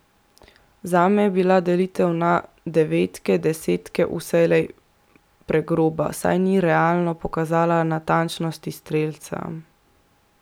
Zame je bila delitev na devetke, desetke vselej pregroba, saj ni realno pokazala natančnosti strelca.